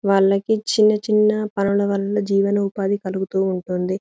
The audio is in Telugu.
వాళ్ళకి చిన్న చిన్న పనులు వలన జీవన ఉపది కలుగుతుంది--.